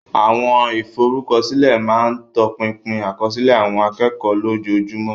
Àwọn ìforúkọsílẹ̀ máa ń tọpinpin àkọsílẹ̀ àwọn akẹ́kọ̀ọ́ lójoojúmọ́.